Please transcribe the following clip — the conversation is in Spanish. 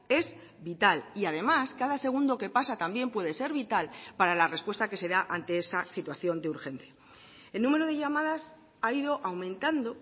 es vital y además cada segundo que pasa también puede ser vital para la respuesta que se da ante esa situación de urgencia el número de llamadas ha ido aumentando